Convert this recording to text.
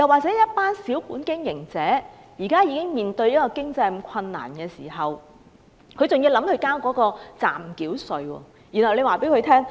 對於小本經營者，他們現時已經要面對經濟困難，還要繳交暫繳稅。